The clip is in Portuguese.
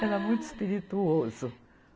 Era muito espirituoso.